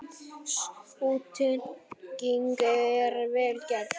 Sú tenging er vel gerð.